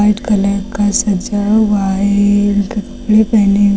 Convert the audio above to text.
red colour का सजा हुआ है कपड़े पहने हुए--